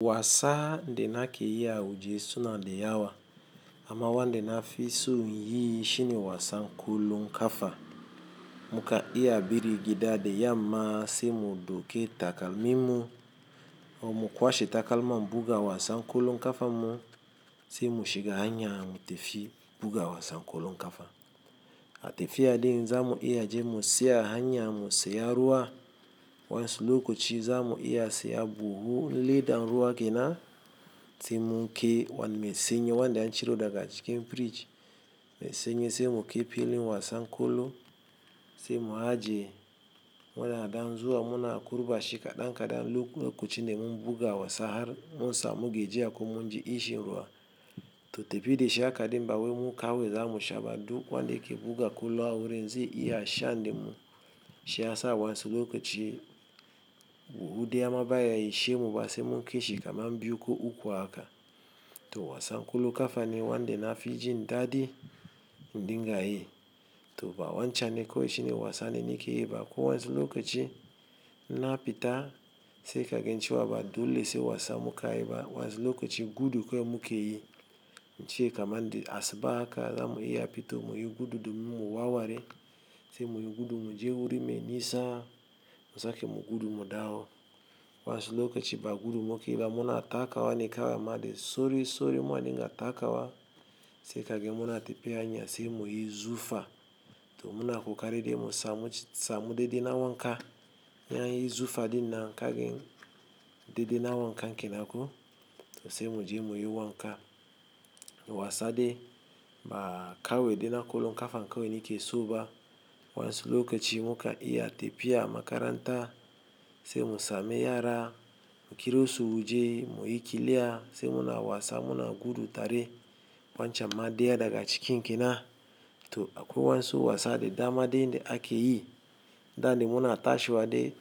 Wasa da nake ya waje suna da yawa. Ama wanda na fison yi shine wasan kollon kafa mukan iya barin gida da yamma sai mu dauki takalminu. Mu kwashe takalman buga wasan kollon kafanmu sai mu shiga hanya mu tafi buga wasan kollon kafa. A tafiya din zamu iya je mu tsaya a hanya mu saya ruwa. Waɗansu lokaci zamu iya siyan buhun ledan ruwa ke nan sai mun kai wani mai sanyi wanda an ciro daga cikin fridge. Mai sanyi sai mu kai filin wasan kollo sai mu ajiye. Muna dan zuwa muna kurɓa shi kaɗan-kaɗan lokacin da mun buga wasa har mun samu gajiya ko mun ji ƙishin ruwa. To tebi de sha kaɗi bawe mu kawe zamu shaba duk wa nde ke buga kolo awere nze iya sha nde mu sha sa wansulukuchi buhu de ama baya ishe mu ba se mu ke shikama mbuko uku aka. Toh wasan ƙwallon ƙafa ne wanda nafi jin daɗi in dinga uyi. To ba wancham ne ko shini wasa ne ni ke yi ba. Ko wansulukuchi na pita se ka gen ciwa ba dule se wasa muka yi ba. Wansulukuchi gudu ko mu ke yi. Ance kaman da asuba haka zamu iya pita o muyi gudu domin mu wawari se muyi gudu mu je wuri me nisa musake mu gudu mu dawo. Waɗansu lokachi ba gudu mu ke yi ba muna taka wa ne kawa ma de sori sori ma ne nga taka wa se ka gen muna tebi hanya se muyi zufa to muna kukaari de musa mu deɗe na wanka. In an yi zufa dinnan ka gen deɗe na wanka kenako to se mu je muyi wanka. Wasa de ba kawe de na kolonkafa kawu ne ke soba. Wansulukuchi muka iya tafiya makaranta se musa me yara kiri su wuje muyi kiliya se muna wasa muna gudu tare wancham ma deya daga cikin kenna. To akwai wansu wasa de dama de nde ake yi. Sanda muna tashawa de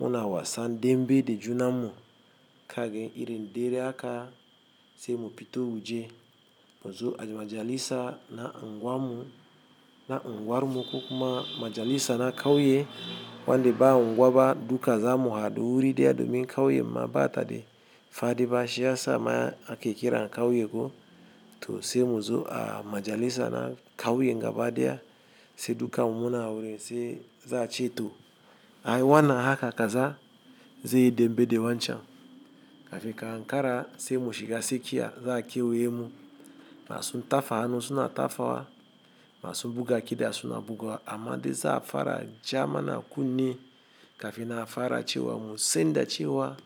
muna wasa dembe de juna mu ka gen iri nde dere aka se mu pita wuje. Muzo a majalisa na angwar mu kuma majalisa na kauye wa nde ba angwa ba duka zamu haɗu wuri deya domin kauye mma ba ta de fadi ba sha sa maye ake kira kawuye ko to se mu zo a majalisa na kauyen gaba deya se duka mu muna awere se za a ci to a yi wana haka kaza ze yi dembe de wanchan. Kafin ka ankara se mu shiga sekiya za a kewuye mu. Masu tafa hanu suna tafawa masu buga kida suna bugawa amma de za a fara ja mana kunne ka fe na fara cewa mu senda cewa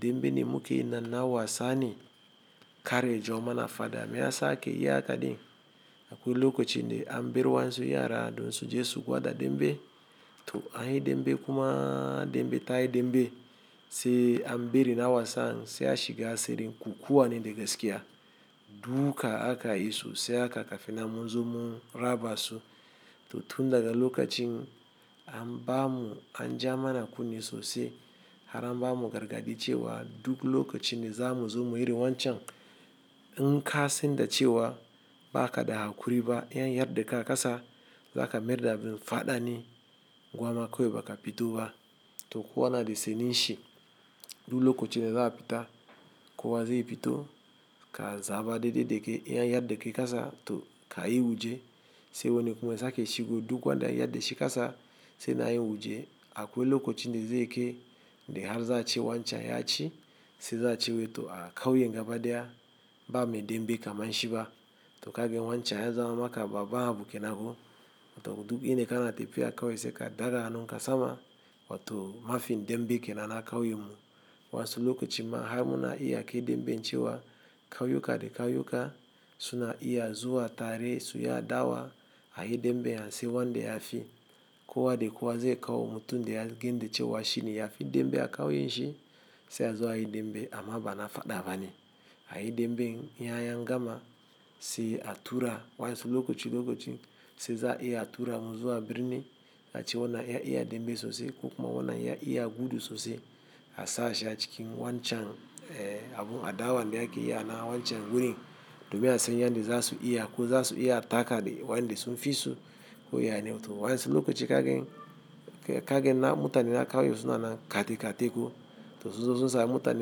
dembe da mu ke yi nan na wasa ni kar ya jawo mana fada me ya sake yi haka din. Akwai lukuchi nde an biri wansu yara don su je su gwada dembe. To a yi dembe kuma dembe ta yi dembe se an biri na wasan se a shiga asirin kukkuwa ne de gaskiya. Duka aka yi so se aka ka fe na mu zo mu raba su. To tun daga lukuchin an ba mu an ja mana kunne sosai har an ba mu gargaɗi cewa duk lokachin da za mu zo muyi irin wanchan. In ka senda cewa ba ka da hakuri ba, yanya yardakai a ƙasa za ka mierda bin faɗa ni angwa ma kewu ba ka pita ba. To kowa na de seni shi duk lukuchi ne za a pita kuwa ze yi pito ka zaba deɗe deke yanya yardeke kaza to ka yi wuje se wani kuma sake shigo duk wa nde yarde shi kaza sai na yi wuje akwai lukuchi ne ze ke de har za a ci wancham ya ci se za a ci weto a kawuye ngaba deya ba me dembe ka man shiba. To ka gen wancham ya zama maka babba abu kenako to duk ine kana tebiya kawuye se ka daga hanu ka sama wa to mafi dembe kenana kawuye mu. Waɗansu lokaci ma har muna iya ake dembe nchi wa kawuye ka de kawuye ka suna iya zuwa tare su ya dawa a yi dembe ya nsi wa nde ya fi kuwa de kuwa ze kawu mutu nde ya ginde cewa shini ya fi dembe a kawuye shi se ya zo a yi dembe amma bana faɗa bane. A yi demben yanya gama se a tura wansulukuchi lukuchi se za a iya tura muzuwa birni ka ci wana ya iya dembe sosai ko kuma wana ya iya gudu sosai a sa shi a cikin wancham abu a dawa me ake yi ana wancham wurin domin a sanya nde za su iya ko za su iya taka da wanda sun fi su koyane. To waɗansu lokaci ka gen ka gen na mutane na kawuye suna na kati kati ko to sosai sosai mutane.